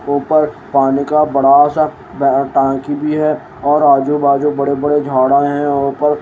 ऊपर पानी का बड़ा सा ब टंकी भी है और आजूबाजू बड़े बड़े झाड़ा है और ऊपर--